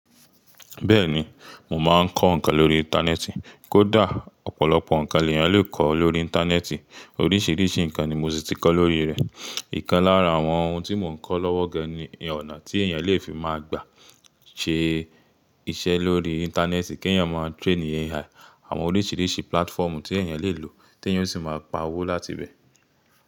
Bẹ́ẹ̀ni, mo máa ń kọ́ ǹkan lórí Íńtánẹ́ẹ̀tì. Kódà ọ̀pọ̀lọpọ̀ ǹkan lè èyàn lè kọ́ lórí Íńtánẹ́ẹ̀tì. Oríṣìíríṣìí ǹkan ni mo si tì kọ́ lórí rẹ̀. Ìkan lára àwọn ohun tí mo ń kọ́ lọ́wọ́ gan ni ọ̀nà tí èèyàn lè fi máa gbà ṣe iṣẹ́ lórí Íńtánẹ́ẹ̀tì, kí ẹ̀yàn máa train Ai, àwọn oríṣìíríṣìí platform tí èèyàn lè lò, tí èèyàn sì máa pa owó láti ibẹ̀.